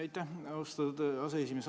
Aitäh, austatud aseesimees!